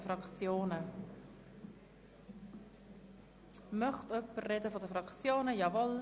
Wird das Wort seitens der Fraktionen gewünscht?